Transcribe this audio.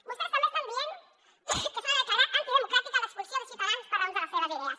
vostès també estan dient que s’ha de declarar antidemocràtica l’expulsió de ciutadans per raó de les seves idees